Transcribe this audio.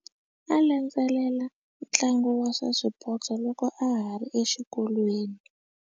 A landzelela ntlangu wa swa swipotso loko a ha ri exikolweni.